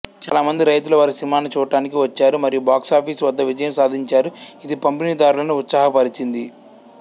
చాలా మంది రైతులు వారి సినిమాని చూడటానికి వచ్చారు మరియు బాక్సాఫీస్ వద్ద విజయం సాధించారు ఇది పంపిణీదారులను ఉత్సాహపరిచింది